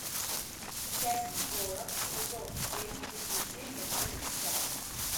часть сорок сезон семь приключения джеки чана